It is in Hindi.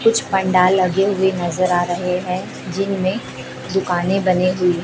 कुछ पंडाल लगे हुए नजर आ रहे हैं जिनमें दुकाने बनी हुई--